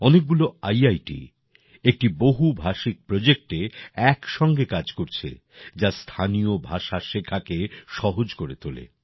অনেকগুলো ইআইটি একটি বহুভাষিক প্রজেক্টে একসঙ্গে কাজ করছে যা স্থানীয় ভাষা শেখাকে সহজ করে তোলে